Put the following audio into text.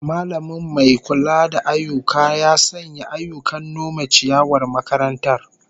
Mallamin mai kula da ayyuka ya sanya ayyukan nome ciyawar makarantar